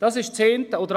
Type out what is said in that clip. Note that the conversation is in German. Das ist das eine.